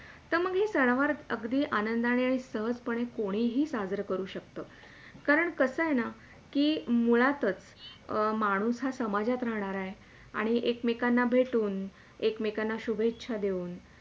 काही सण वार अगदी आनंदाणे, सहजपणे कोणीही साजरं करू शकतं. कारण कसय ना कि मुळातच, अं माणूस हा समाजात राहणारा आहे आणि एक मेकांना भेटुन, एक मेकांना शुभेच्छा देऊन.